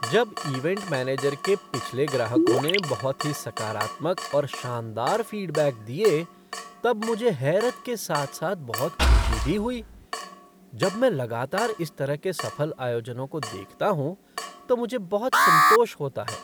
जब event manager के पिछले ग्राहकों ने बहुत ही सकारात्मक और शानदार फ़ीडबैक दिए तब मुझे हैरत के साथ साथ बहुत खुशी भी हुई। जब मैं लगातार इस तरह के सफल आयोजनों को देखता हूँ तो मुझे बहुत संतोष होता है।